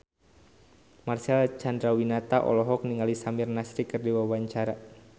Marcel Chandrawinata olohok ningali Samir Nasri keur diwawancara